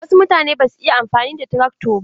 Wasu mutane basu iya amfani da trakto ba.